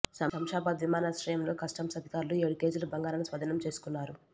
శంషాబాద్ విమానాశ్రయంలో కస్టమ్స్ అధికారులు ఏడు కేజీల బంగారాన్ని స్వాధీనం చేసుకున్నారు